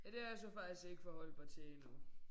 Ja det har jeg så faktisk ikke forholdt mig til endnu